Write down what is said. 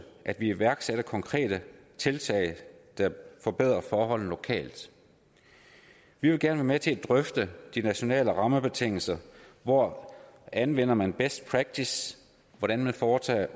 iværksætter konkrete tiltag der forbedrer forholdene lokalt vi vil gerne være med til at drøfte de nationale rammebetingelser hvor anvender man best practice og hvordan foretager